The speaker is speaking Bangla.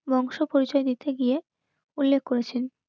বংশ পরিচয় দিতে গিয়ে উল্লেখ করেছেন